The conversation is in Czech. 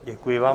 Děkuji vám.